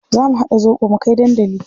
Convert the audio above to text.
Za mu haɗa zobo mu kai dandali.